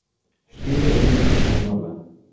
Štiri od njih so umrle.